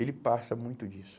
Ele passa muito disso.